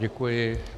Děkuji.